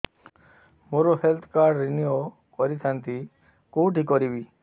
ମୋର health card renew କରିଥାନ୍ତି କୋଉଠି କରିବି